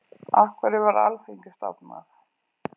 Af hverju var Alþingi stofnað?